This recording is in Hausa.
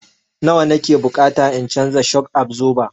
Nawa na ke bukata in canza shok absoba?